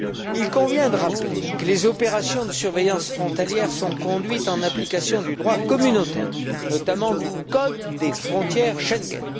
Il convient de rappeler que les opérations de surveillance frontalière sont conduites en application du droit communautaire, notamment du code des frontières Schengen.